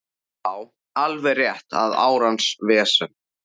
Já, alveg rétt og árans vesen